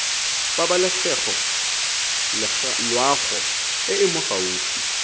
pabalesego loago e e gaufi